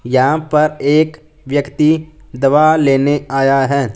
यहां पर एक व्यक्ति दवा लेने आया हैं।